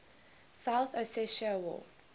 south ossetia war